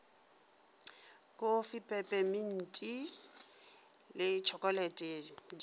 kofi pepeminti le tšhokolete di